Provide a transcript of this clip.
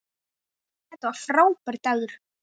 Þetta var frábær dagur.